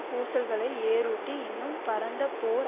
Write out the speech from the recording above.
பூசல்களை ஏர்யூட்டி இன்னும் பரந்த போர்